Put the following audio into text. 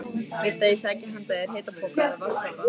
Viltu að ég sæki handa þér hitapoka eða vatns- sopa?